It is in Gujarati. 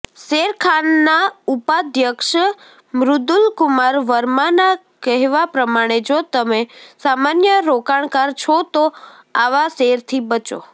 શેરખાનના ઉપાધ્યક્ષ મૃદુલકુમાર વર્માના કહેવા પ્રમાણે જો તમે સામાન્ય રોકાણકાર છો તો આવા શેરથી બચો